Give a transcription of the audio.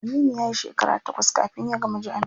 Aminu yayi shekara takwas kafin ya gama jami'a.